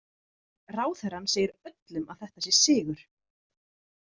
Ráðherrann segir öllum að þetta sé sigur.